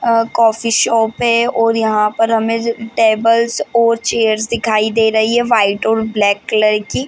अ coffee shop है और यहाँ पर हमे ज टेबल्स और चेयर्स दिखाई दे रही है व्हाइट और ब्लैक कलर की --